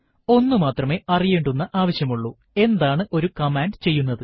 ഒന്നുമാത്രമേ അറിയേണ്ടുന്ന ആവശ്യമുള്ളൂ എന്താണ് ഒരു കമാൻഡ് ചെയ്യുന്നത്